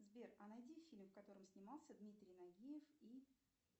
сбер а найди фильм в котором снимался дмитрий нагиев и